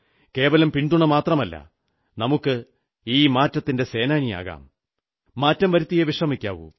കേവലം പിന്തുണ മാത്രമല്ല നമുക്ക് ഈ മാറ്റത്തിന്റെ സേനാനിയാകാം മാറ്റം വരുത്തിയേ വിശ്രമിക്കാവൂ